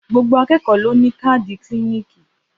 Gbogbo àkẹkọ ló nì kàdí kílìníkì.